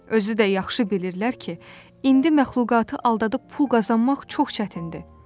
Özü də yaxşı bilirlər ki, indi məxluqatı aldadıb pul qazanmaq çox çətindir.